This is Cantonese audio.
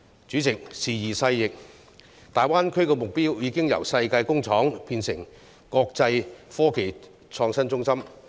主席，時移世易，大灣區的目標已經由世界工廠變成國際科技創新中心。